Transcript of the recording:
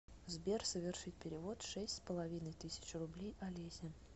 сбер совершить перевод шесть с половиной тысяч рублей олесе